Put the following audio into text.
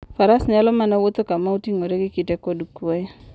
Faras nyalo mana wuotho kama oting'ore gi kite kod kuoyo.